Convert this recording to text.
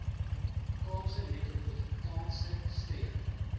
kaapse metropolitaanse streek